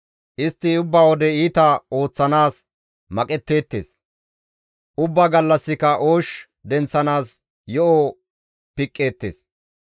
Istti ubba wode iita ooththanaas maqetteettes; ubba gallassika oosh denththanaas yo7o piqqeettes.